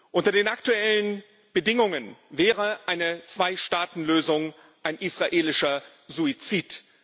Unter den aktuellen Bedingungen wäre eine Zweistaatenlösung ein israelischer Suizid.